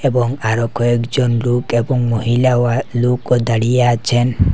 এবং আরো কয়েকজন লোক এবং মহিলা ও লোকও দাঁড়িয়ে আছেন।